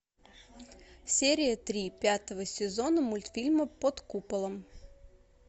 серия три пятого сезона мультфильма под куполом